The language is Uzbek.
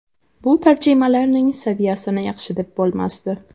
Bu tarjimalarning saviyasini yaxshi deb bo‘lmasdi.